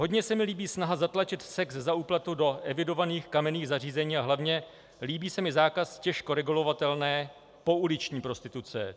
Hodně se mi líbí snaha zatlačit sex za úplatu do evidovaných kamenných zařízení a hlavně líbí se mi zákaz těžko regulovatelné pouliční prostituce.